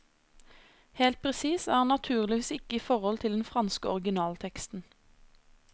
Helt presis er han naturligvis ikke i forhold til den franske originalteksten.